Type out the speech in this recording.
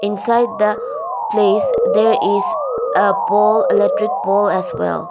inside the place there is a poll electric poll as well.